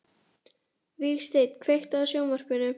Vígsteinn, kveiktu á sjónvarpinu.